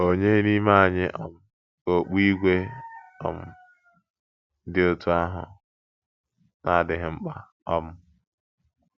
Ònye n’ime anyị um ka okpu ígwè um dị otú ahụ na - adịghị mkpa um?